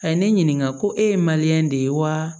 A ye ne ɲininka ko e ye de ye wa